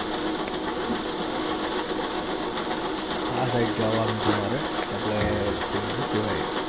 આ રે જવાનુ છે મારે આપડે પેલુ સુ કેવાય